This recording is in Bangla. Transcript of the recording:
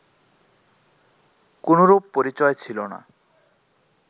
কোনরূপ পরিচয় ছিল না